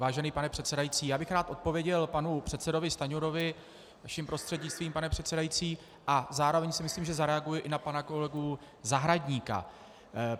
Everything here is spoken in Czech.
Vážený pane předsedající, já bych rád odpověděl panu předsedovi Stanjurovi vaším prostřednictvím, pane předsedající, a zároveň si myslím, že zareaguji i na pana kolegu Zahradníka.